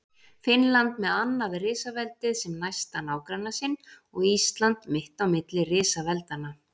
Finnland með annað risaveldið sem næsta nágranna sinn og Ísland mitt á milli risaveldanna.